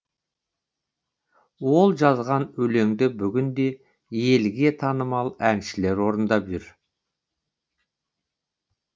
ол жазған өлеңді бүгінде елге танымал әншілер орындап жүр